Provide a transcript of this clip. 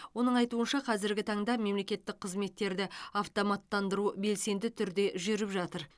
оның айтуынша қазіргі таңда мемлекеттік қызметтерді автоматтандыру белсенді түрде жүріп жатыр